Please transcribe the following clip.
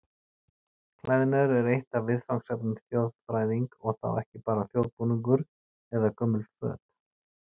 Klæðnaður er eitt af viðfangsefnum þjóðfræðing og þá ekki bara þjóðbúningar eða gömul föt.